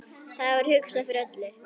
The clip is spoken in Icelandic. Það var hugsað fyrir öllu.